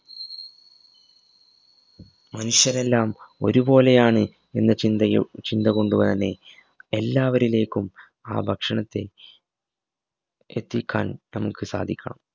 മനുഷ്യരെല്ലാം ഒരുപോലെയാണ് എന്ന ചിന്തയു ചിന്തകൊണ്ട് വ തന്നെ എല്ലാവരിലേക്കും ആ ഭക്ഷണത്തെ എത്തിക്കാൻ നമുക് സാധിക്കാം